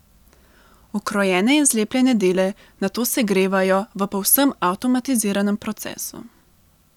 Ukrojene in zlepljene dele nato segrevajo v povsem avtomatiziranem procesu.